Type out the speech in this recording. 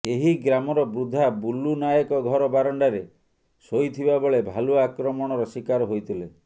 ଏହି ଗ୍ରାମର ବୃଦ୍ଧା ବୁଲୁ ନାୟକ ଘର ବାରାଣ୍ଡାରେ ଶୋଇଥିବା ବେଳେ ଭାଲୁ ଆକ୍ରମଣର ଶିକାର ହୋଇଥିଲେ